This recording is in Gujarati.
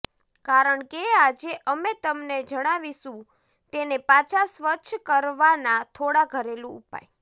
કારણ કે આજે અમે તમને જણાવીશું તેને પાછા સ્વચ્છ કરવાના થોડા ઘરેલું ઉપાય